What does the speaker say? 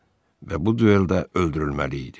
Və bu dueldə öldürülməli idi.